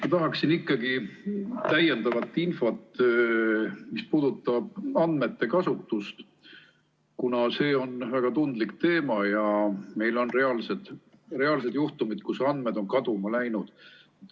Ma tahaksin täiendavat infot andmete kasutuse kohta, kuna see on väga tundlik teema ja meil on olnud reaalseid juhtumeid, et andmed on kaduma läinud.